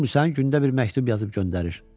Görmüsən gündə bir məktub yazıb göndərir.